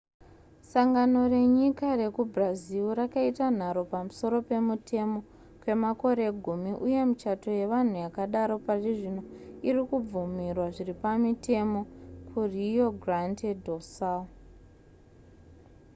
sangano renyika rekubrazil rakaita nharo pamusoro pemutemo kwemakore gumi uye michato yevanhu yakadaro parizvino irikubvumirwa zviripamutemo ku rio grande do sul